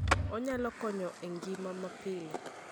Onyalo konyo e ngima mapile.